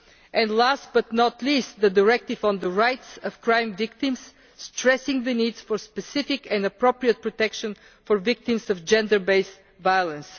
and last but not least, the directive on the rights of crime victims, stressing the need for specific and appropriate protection for victims of gender based violence.